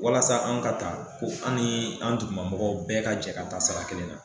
Walasa an ka taa fo an ni an dugumamɔgɔw bɛɛ ka jɛ ka taa sara kelen na.